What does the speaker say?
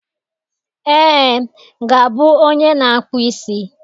Ee, ga-abụ onye na-akpụ isi.